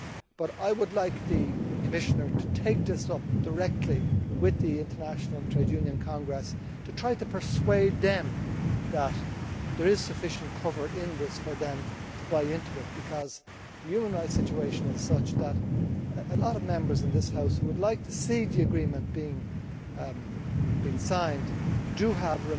But I would like the Commissioner to take this up directly with the International Trade Union Congress, to try to persuade them that there is sufficient cover in this for them to buy into it, because the human rights situation is such that a lot of Members in this House who would like to see the agreement signed, still have